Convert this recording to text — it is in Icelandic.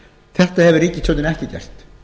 þetta hefur ríkisstjórnin ekki gert